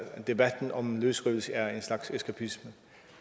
debatten om løsrivelse er en slags eskapisme